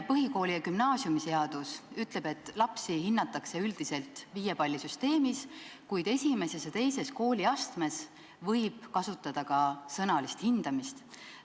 Põhikooli- ja gümnaasiumiseadus ütleb, et lapsi hinnatakse üldiselt viiepallisüsteemis, kuid esimeses ja teises kooliastmes võib kasutada ka sõnalist hindamist.